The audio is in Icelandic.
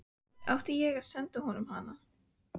Átti ég að senda honum hana?